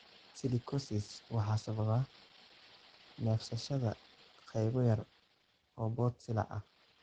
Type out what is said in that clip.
Silicosis waxaa sababa neefsashada qaybo yaryar oo boodh silica ah.